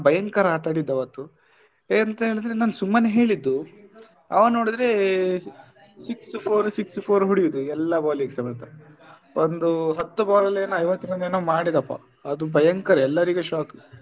ಭಯಂಕರ ಆಟ ಆಡಿದ್ದು ಆವತ್ತು ಎಂತ ಹೇಳಿದ್ರೆ ನಾನ್ ಸುಮ್ಮನೆ ಹೇಳಿದ್ದುಅವ ನೋಡಿದ್ರೆ six four six four ಹೊಡಿಯುದು ಎಲ್ಲ ball ಗೂ ಸಮೇತ ಒಂದು ಹತ್ತು ball ಅಲ್ಲಿ ಐವತ್ತು run ಏನೋ ಮಾಡಿದಪ್ಪ ಅದು ಭಯಂಕರ ಎಲ್ಲರಿಗೂ shock .